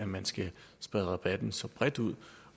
man skal sprede rabatten så bredt ud